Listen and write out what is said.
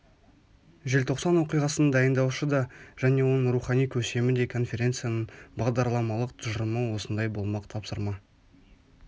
желтоқсан оқиғасын дайындаушы да және оның рухани көсемі де конференцияның бағдарламалық тұжырымы осындай болмақ тапсырма